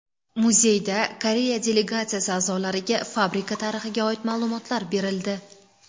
Muzeyda Koreya delegatsiyasi a’zolariga fabrika tarixiga oid ma’lumotlar berildi.